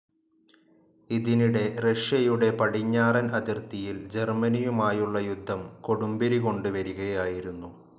ഇതിനിടെ റഷ്യയുടെ പടിഞ്ഞാറൻ അതിർത്തിയിൽ ജർമ്മനിയുമായുള്ള യുദ്ധം കൊടുമ്പിരികൊണ്ട് വരികയായിരുന്നു.